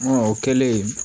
o kɛlen